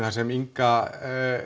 þar sem Inga